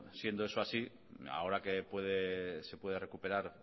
siendo esto así ahora que se puede recuperar